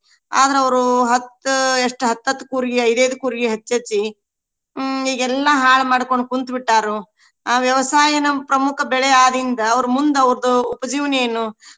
ಆದ್ರ ಅವ್ರು ಹತ್ತ ಎಷ್ಟ ಹತ್ತತ್ತ ಕೂರ್ಗಿ, ಐದೆದ ಕೂರ್ಗಿ ಹಚ್ಚೆಚ್ಚಿ ಹ್ಮ್ ಈಗೆಲ್ಲಾ ಹಾಳ ಮಾಡ್ಕೊಂಡ್ ಕುಂತ ಬಿಟ್ಟಾರು. ಆ ವ್ಯವಸಾಯ ನಮ್ಮ ಪ್ರಮುಖ ಬೆಳೆ ಆದಿಂದ ಅವ್ರ ಮುಂದ ಅವ್ರದು ಉಪಜೀವನ ಏನು?